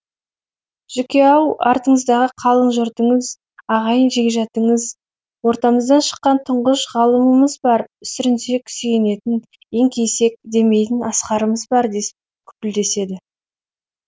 жүке ау артыңыздағы қалың жұртыңыз ағайын жекжатыңыз ортамыздан шыққан тұңғыш ғалымымыз бар сүрінсек сүйенетін еңкейсек демейтін асқарымыз бар дес күпілдеседі